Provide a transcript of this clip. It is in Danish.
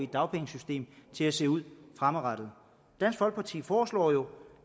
dagpengesystem til at se ud fremadrettet dansk folkeparti foreslår jo